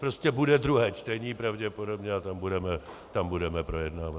Prostě bude druhé čtení pravděpodobně a tam budeme projednávat.